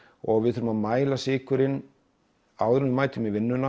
og við þurfum að mæla sykurinn áður en við mætum í vinnuna